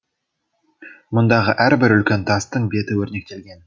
мұндағы әрбір үлкен тастың беті өрнектелген